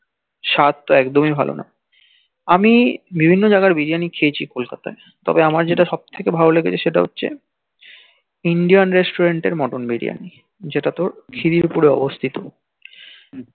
স্বাদ তো একদমি ভাল না আমি বিভিন্ন জাইগার বিরিয়ানি খেয়েছি kolkata যে তবে আমার যেটা সব থইকে ভালো লেগেছে সেটা আছে Indian Resturant এর মটন বিরিয়ানি জেতা তোর khidirpore এ অবস্থিত